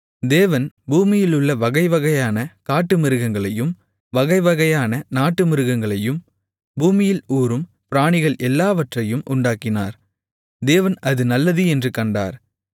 தேவன் பூமியிலுள்ள வகைவகையான காட்டுமிருகங்களையும் வகைவகையான நாட்டுமிருகங்களையும் பூமியில் ஊரும் பிராணிகள் எல்லாவற்றையும் உண்டாக்கினார் தேவன் அது நல்லது என்று கண்டார்